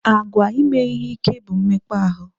Àgwà ime ihe ike bụ mmekpa ahụ.